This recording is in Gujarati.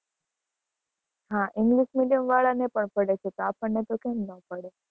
હા, english medium વાળા ને પણ પડે છે, તો આપણને તો કેમ નો પડે?